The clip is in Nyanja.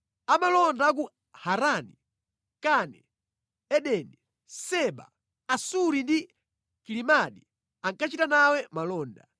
“Amalonda a ku Harani, Kane, Edeni, Seba, Asuri ndi Kilimadi ankachita nawe malonda.